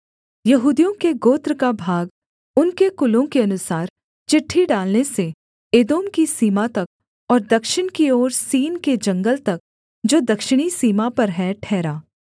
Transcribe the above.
यहूदियों के गोत्र का भाग उनके कुलों के अनुसार चिट्ठी डालने से एदोम की सीमा तक और दक्षिण की ओर सीन के जंगल तक जो दक्षिणी सीमा पर है ठहरा